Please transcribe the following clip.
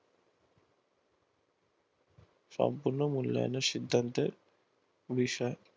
সম্পূর্ণ মূল্যায়নের সিদ্ধান্তের বিষয়